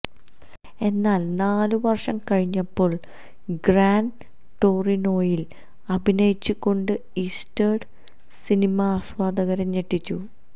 എന്നാൽ നാല് വർഷം കഴിഞ്ഞപ്പോൾ ഗ്രാൻ ടോറിനോയിൽ അഭിനയിച്ചുകൊണ്ട് ഈസ്റ്റ്വുഡ് സിനിമാ ആസ്വാദകരെ ഞെട്ടിച്ചു